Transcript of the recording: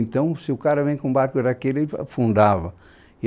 Então, se o cara vem com o barco daquele, ele afundava.